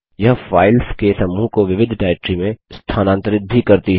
यह फाइल्स के समूह को विविध डाइरेक्टरी में स्थानांतरित भी करती है